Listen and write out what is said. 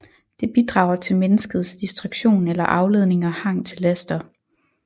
Det bidrager til menneskets distraktion eller afledning og hang til laster